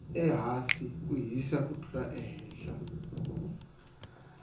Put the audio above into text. ehasi ku hisa ku tlula ehehla